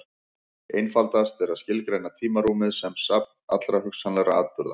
Einfaldast er að skilgreina tímarúmið sem safn allra hugsanlegra atburða.